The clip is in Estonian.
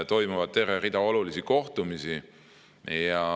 Toimub terve hulk olulisi kohtumisi.